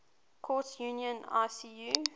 courts union icu